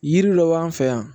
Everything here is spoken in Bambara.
Yiri dɔ b'an fɛ yan